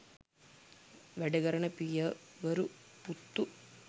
වැඩ කරන පියවරු පුත්තු